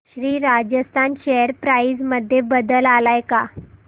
Shri Rajasthan share price मध्ये बदल आलाय का